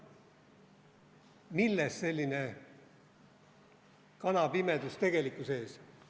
Millest selline kanapimedus tegelikkuse ees?